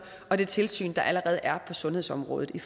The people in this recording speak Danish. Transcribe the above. og det tilsyn der allerede er på sundhedsområdet i